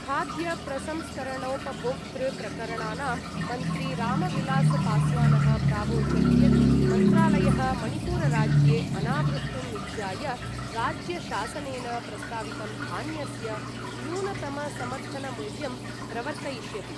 खाद्यप्रसंस्करणोपभोक्तृप्रकरणानां मन्त्री रामविलासपास्वानः प्रावोचत् यत् मन्त्रालयः मणिपुरराज्ये अनावृष्टिं निध्याय राज्यशासनेन प्रस्तावितं धान्यस्य न्यूनतमसमर्थनमूल्यं प्रवर्तयिष्यति।